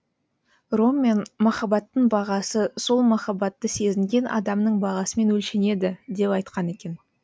роммен махабаттың бағасы сол махаббатты сезінген адамның бағасымен өлшенеді деп айтқан екен